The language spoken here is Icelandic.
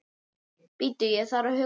Bíddu ég þarf að hugsa.